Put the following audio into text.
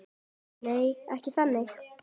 Nei, ekki þannig.